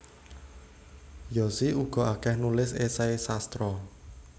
Yosi uga akeh nulis esei sastra